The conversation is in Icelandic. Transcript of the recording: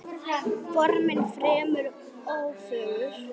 Formin fremur ófögur.